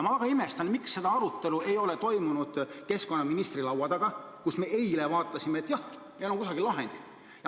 Ma väga imestan, miks seda arutelu ei ole toimunud keskkonnaministri laua taga, kus me eile vaatasime, et jah, meil on kusagil lahendid.